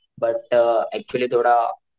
but actually थोडा,